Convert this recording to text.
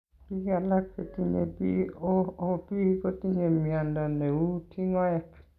Biik alak chetinye BOOP kotinye mnyondo neuu tingoek